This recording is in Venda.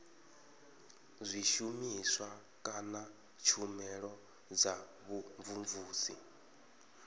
zwishumiswa kana tshumelo dza vhumvumvusi